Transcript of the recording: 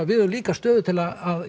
við höfum líka stöðu til að